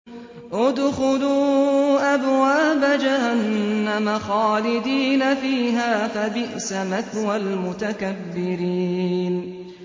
ادْخُلُوا أَبْوَابَ جَهَنَّمَ خَالِدِينَ فِيهَا ۖ فَبِئْسَ مَثْوَى الْمُتَكَبِّرِينَ